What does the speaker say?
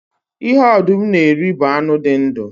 Ihe ọdụm na-eri bụ anụ dị ndu